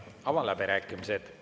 Avan läbirääkimised.